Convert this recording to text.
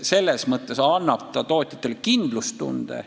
Selles mõttes annab see seadus tootjatele kindlustunde.